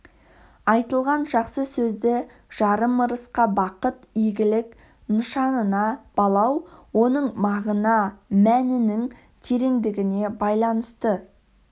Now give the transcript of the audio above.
айтылған жақсы сөзді жарым ырысқа бақыт игілік нышанына балау оның мағына-мәнінің тереңдігіне байланысты